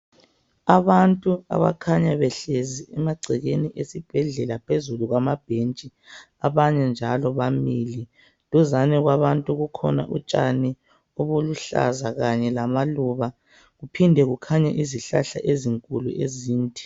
Abantu abakhanya behlezi emagcekeni esibhedlela phezulu kwama bhentshi, abanyenjalo bamile. Duzane kwabantu kukhona utshani obuluhlaza kanye lamaluba, kuphinde kukhanye izihlahla ezinkulu ezinde.